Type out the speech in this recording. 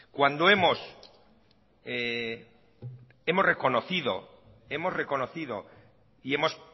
cuando hemos reconocido y hemos